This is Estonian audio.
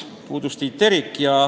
Puudus Tiit Terik.